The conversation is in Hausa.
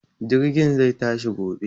Jirgin zai tashi gobe.